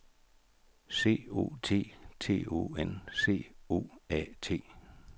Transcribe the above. C O T T O N C O A T